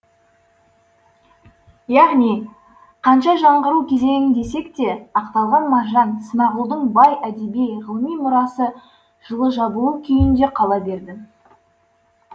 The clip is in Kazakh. яғни қанша жаңғыру кезеңі десек те ақталған мағжан смағұлдың бай әдеби ғылыми мұрасы жылы жабулы күйінде қала берді